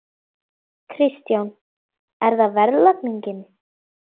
Kristján: Er það verðlagningin?